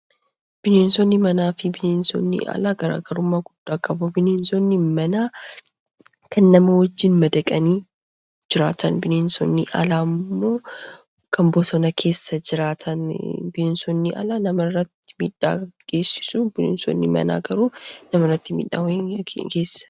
Bineensonni manaa fi bineensonni aalaa garaagarummaa guddaa qabu bineensonni manaa kan nama wajjiin madaqanii jiraatani. Bineensonni alaa ammoo kan boosona keessaa bineensonni alaa namarratti midhaa geessisu. Bineensonni manaa garuu namarratti miidhaa hin geessisan.